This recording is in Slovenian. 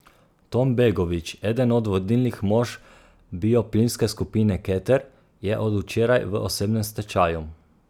Tom Begovič, eden od vodilnih mož bioplinske skupine Keter, je od včeraj v osebnem stečaju.